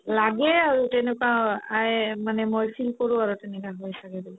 লাগে আৰু তেনেকুৱা অ আই মানে মই feel কৰো আৰু তেনেকুৱা হয় ছাগে বুলি